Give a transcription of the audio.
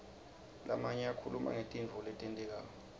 lamanye akhuluma ngetintfo letentekako